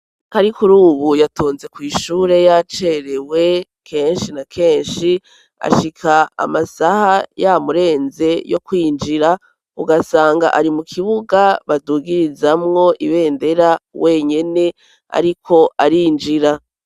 Karikurubu yatonze kw'ishure y'acerewe, kenshi na kenshi ashika amasaha yamurenze yo kwinjira, ugasanga ari mu kibuga badugirizamwo ibendera wenyene ariko arinjira.